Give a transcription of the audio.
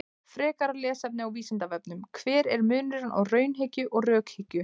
Frekara lesefni á Vísindavefnum: Hver er munurinn á raunhyggju og rökhyggju?